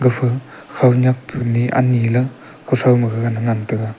efu khanyak ani ley gaga ne ngan taiga.